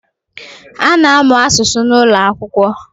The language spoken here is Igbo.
A na-amụ asụsụ n’ụlọakwụkwọ